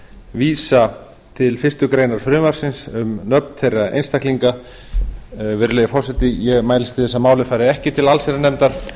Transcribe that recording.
vísa til fyrstu grein frumvarpsins um nöfn þeirra einstaklinga virðulegi forseti ég mælist til þess að málið fari ekki til allsherjarnefndar